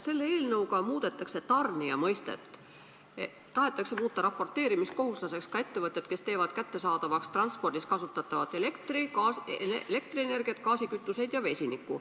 Selle eelnõuga muudetakse tarnija mõistet, tahetakse muuta raporteerimiskohustuslaseks ka ettevõtted, kes teevad kättesaadavaks transpordis kasutatavat elektrienergiat, gaaskütuseid ja vesinikku.